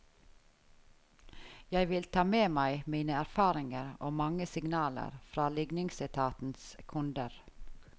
Jeg vil ta med meg mine erfaringer og mange signaler fra ligningsetatens kunder.